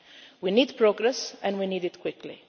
Japan. We need progress and we need it quickly.